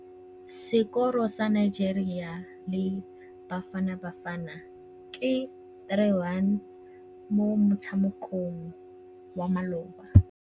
Sekôrô sa Nigeria le Bafanabafana ke 3-1 mo motshamekong wa malôba.